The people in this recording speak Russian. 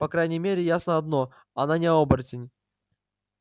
по крайней мере ясно одно она не оборотень